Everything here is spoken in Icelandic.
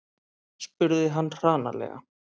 spurði hann hranalega.